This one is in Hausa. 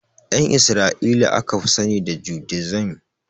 Ƴan isra'ila aka fi sani da judaism